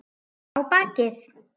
Á bakið.